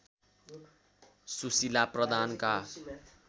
Sushila प्रधानका